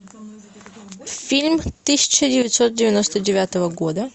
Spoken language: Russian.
фильм тысяча девятьсот девяносто девятого года